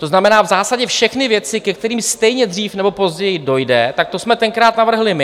To znamená, v zásadě všechny věci, ke kterým stejně dřív nebo později dojde, tak to jsme tenkrát navrhli my.